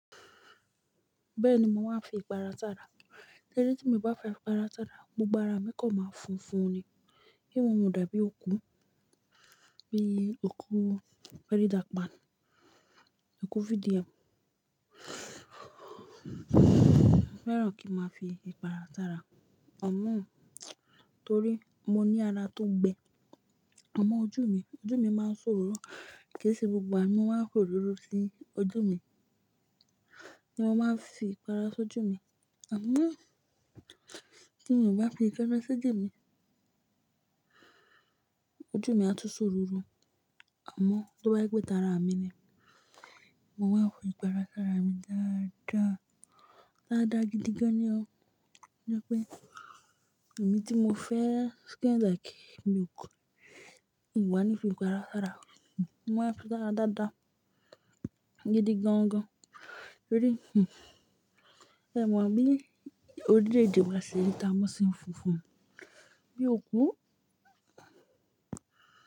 Bẹ́ẹ̀ni, mo máa ń fi ìpara sára. Lẹ́yìn tí mo bá fi ìpara sára, gbogbo ara mi kọ́n máa funfun ni. Kí n mo dàbí òkú, bí òkú fẹ́rè ìdàgbàsókè, òkú video. Mo fẹ́ràn kí n máa fi ìpara sára amọ́n, torí mo ní ara tó gbẹ. Amọn ojú mi, ojú mi máa ń ṣòroro Kì í ṣe gbogbo àánú máa ń kóròrò sí ojú mi, bí mo bá fi ìpara sójú mi. Àmọ́ tí mo bá fi ìpara sójú mi, ojú mi á tun ṣòròrò. Àmọ́ tó bá jé tara mi ni, mo máa ń fi ìpara sára mi dáadáa, dáadáa gidi gan ni ọ́. Bígbà pé èmi tí mo fẹ́ skin like milk, mi o wáa ńi fi ìpara sára. Mo máa ń fi sara dáadáa gidi gangan, torí hmmm ẹ máa mọ̀ bí orílẹ̀-èdè wa ṣe rí tamo se funfun bí òkú.